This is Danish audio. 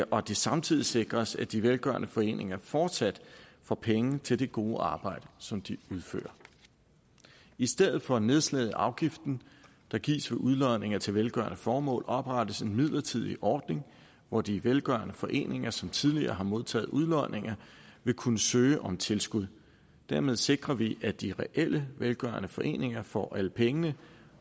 og at det samtidig sikres at de velgørende foreninger fortsat får penge til det gode arbejde som de udfører i stedet for et nedslag i afgiften der gives ved udlodninger til velgørende formål oprettes en midlertidig ordning hvor de velgørende foreninger som tidligere har modtaget udlodninger vil kunne søge om tilskud dermed sikrer vi at de reelle velgørende foreninger får alle pengene